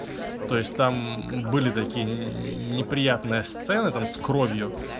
то есть там были такие неприятные сцены там с кровью